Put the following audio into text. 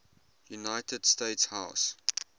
united states house